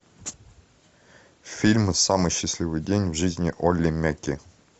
фильм самый счастливый день в жизни олли мяки